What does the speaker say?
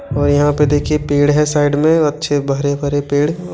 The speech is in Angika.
और यहाँ पे देखिए पेड़ है साइड में और अच्छे भरे-भरे पेड़ और --